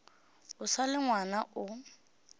o sa le ngwana o